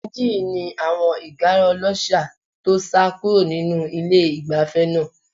Ìdajì yìí ni àwọn ìgára ọlọ́ṣà tó sá kúrò nínú ilé-ìgbafẹ́ náà.